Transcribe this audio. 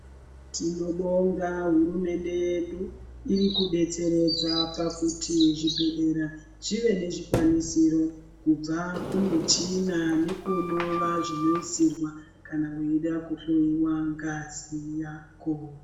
Tinobonga hurumende yedu irikudetseredza pakuti zvibhedhlera zvive nezvikwanisiro kubva kumichina nekunova zvinoisirwa kana uids kuhloyiwa ngazi yako.